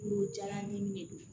Woro jalan ni de do